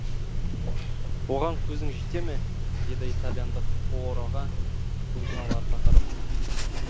оған көзің жете ме деді итальяндық пуароға көзін аларта қарап